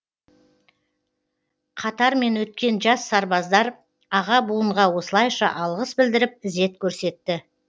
қатармен өткен жас сарбаздар аға буынға осылайша алғыс білдіріп ізет көрсетті